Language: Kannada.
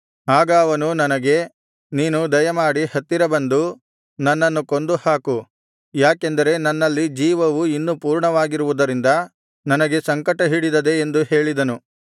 ಆಗ ಅವನು ನನಗೆ ನೀನು ದಯೆಮಾಡಿ ಹತ್ತಿರ ಬಂದು ನನ್ನನ್ನು ಕೊಂದು ಹಾಕು ಯಾಕೆಂದರೆ ನನ್ನಲ್ಲಿ ಜೀವವು ಇನ್ನೂ ಪೂರ್ಣವಾಗಿರುವುದರಿಂದ ನನಗೆ ಸಂಕಟ ಹಿಡಿದದೆ ಎಂದು ಹೇಳಿದನು